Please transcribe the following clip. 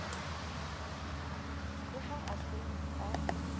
le ha a se a